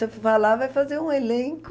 Você vai lá, vai fazer um elenco...